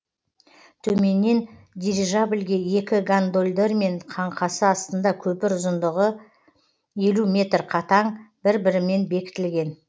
төменнен дирижабльге екі гондолдармен қаңқасы астында көпір ұзындығы елу метр қатаң бір бірімен бекітілген